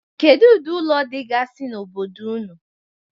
Kedu ụdị ụlọ dịgasị n'obodo ụnụ?